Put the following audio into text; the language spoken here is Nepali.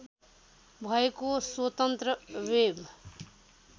भएको स्वतन्त्र वेब